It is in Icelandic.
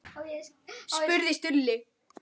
spurði Stulli.